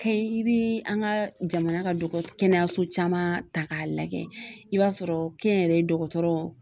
Kayi i bi an ka jamana ka dɔgɔ kɛnɛyaso caman ta k'a lajɛ i b'a sɔrɔ kɛnyɛrɛye dɔgɔtɔrɔw